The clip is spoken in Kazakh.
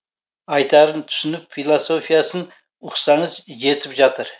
айтарын түсініп философиясын ұқсаңыз жетіп жатыр